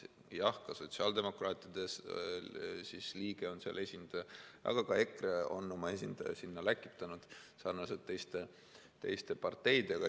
Jah, ka sotsiaaldemokraatide liige on seal, aga ka EKRE on oma esindaja sinna läkitanud sarnaselt teiste parteidega.